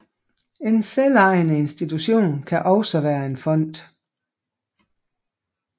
En selvejende institution kan også være en fond